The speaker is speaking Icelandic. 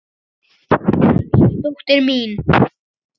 Elsku dóttir mín.